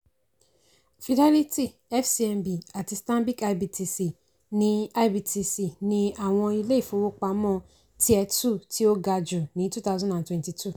fidelity fcmb àti stanbic ibtc ni ibtc ni àwọn ilé-ìfówópamó tier two tí ó gà jù ní two thousand and twenty two.